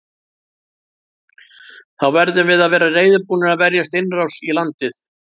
Þá verðum við að vera reiðubúnir að verjast innrás í landið.